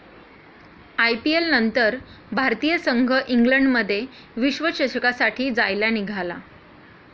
आयपीएलनंतर भारतीय संघ इंग्लंडमध्ये विश्वचषकासाठी जायला निघाला.